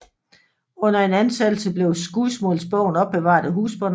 Under en ansættelse blev skudsmålsbogen opbevaret af husbonden